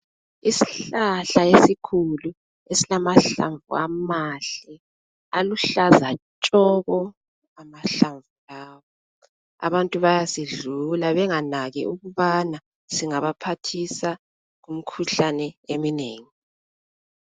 Isihlahla esikhulu esilamahlamvu amahle aluhlaza tshoko amahlamvu lawa, abantu bayasidlula benganaki ukubana singaba phathisa kumkhuhlane eminengi.